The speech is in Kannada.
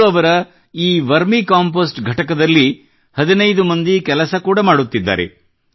ಇಂದು ಅವರ ಈ ವರ್ಮಿ ಕಂಪೆÇೀಸ್ಟಿಂಗ್ ಘಟಕದಲ್ಲಿ 15 ಮಂದಿ ಕೆಲಸ ಕೂಡಾ ಮಾಡುತ್ತಿದ್ದಾರೆ